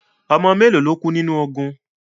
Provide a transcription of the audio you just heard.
Ọmọ mélo lo kú nínu ogun?